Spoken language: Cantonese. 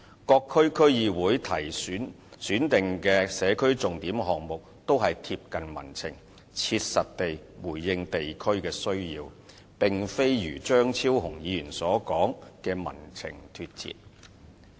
各區區議會選定的社區重點項目都貼近民情，切實地回應地區的需要，並非如張超雄議員所說的"與民情脫節"。